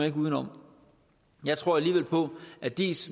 ikke udenom jeg tror alligevel på at diis